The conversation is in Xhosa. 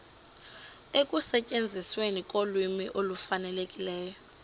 ekusetyenzisweni kolwimi olufanelekileyo